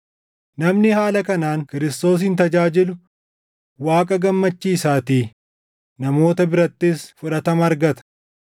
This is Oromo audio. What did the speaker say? Namni haala kanaan Kiristoosin tajaajilu Waaqa gammachiisaatii; namoota birattis fudhatama argata.